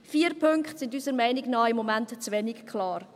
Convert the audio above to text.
Vier Punkte sind unserer Meinung nach im Moment zu wenig klar.